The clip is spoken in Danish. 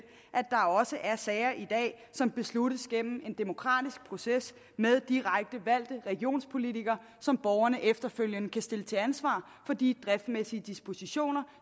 at der også er sager i dag som besluttes gennem en demokratisk proces med direkte valgte regionspolitikere som borgerne efterfølgende kan stille til ansvar for de driftsmæssige dispositioner